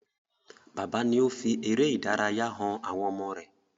Bàbá ni ó fi eré ìdárayá han àwọn ọmọ rẹ̀.